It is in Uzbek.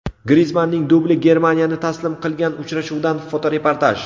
Grizmanning dubli Germaniyani taslim qilgan uchrashuvdan fotoreportaj.